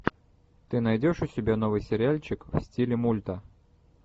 ты найдешь у себя новый сериальчик в стиле мульта